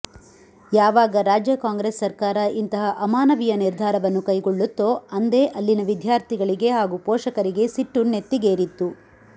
ಯಾವಾಗ ರಾಜ್ಯ ಕಾಂಗ್ರೆಸ್ ಸರ್ಕಾರ ಇಂತಹ ಅಮಾನವೀಯ ನಿರ್ಧಾರವನ್ನು ಕೈಗೊಳ್ಳುತ್ತೋ ಅಂದೇ ಅಲ್ಲಿನ ವಿದ್ಯಾರ್ಥಿಗಳಿಗೆ ಹಾಗೂ ಪೋಷಕರಿಗೆ ಸಿಟ್ಟು ನೆತ್ತಿಗೇರಿತ್ತು